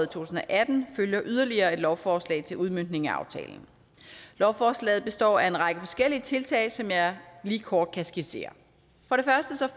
tusind og atten følger yderligere et lovforslag til udmøntning af aftalen lovforslaget består af en række forskellige tiltag som jeg lige kort kan skitsere